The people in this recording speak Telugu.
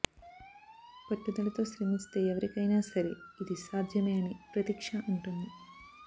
పట్టుదలతో శ్రమిస్తే ఎవరికైనా సరే ఇది సాధ్యమే అని ప్రతిక్ష అంటోంది